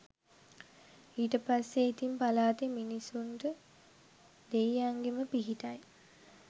ඊට පස්සෙ ඉතින් පලාතෙ මිනිස්සුන්ට දෙය්යන්ගෙම පිහිටයි